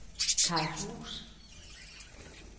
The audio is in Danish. Kai Buus